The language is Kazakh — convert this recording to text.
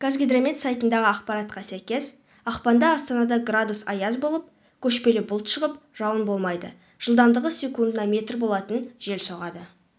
қазгидромет сайтындағы ақпаратқа сәйкес ақпанда астанада градус аяз болып көшпелі бұлт шығып жауын болмайды жылдамдығы секундына метр болатын жел соғады